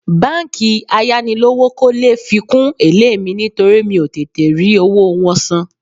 Báńkì ayánilówókọ́lé fi kún èlé mi nítorí mi ò tètè rí owó wọn san